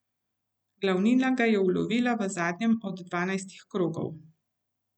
Glavnina ga je ulovila v zadnjem od dvajsetih krogov.